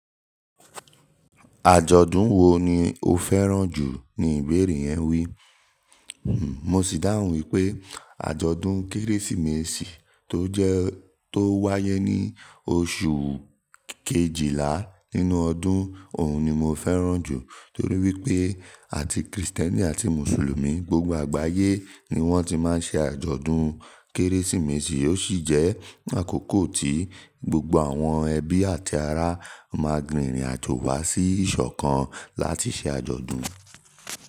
"Àjọ̀dún wo ni o fẹ́ràn jù?" ni ìbéèrè yẹn wí. Mo sì dáhùn wípé àjọ̀dún Kérésìmesì tó jẹ́ tó wáyé ní oṣù kejìlá nínú ọdún òun ni mo fẹ́ràn jù torí wípé àti Krìstẹ́nì àti Mùsùlùmí gbogbo àgbáyé ni wọ́n ti máa ń ṣe àjọ̀dún Kérésìmesì ó sì jẹ́ àkókò tí gbogbo àwọn ẹbí àti ará máa rin ìrìn àjò wa sí ìṣọ̀kan láti ṣe àjọ̀dún.